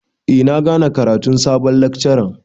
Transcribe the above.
Eh na gane karatun sabon lekcaran.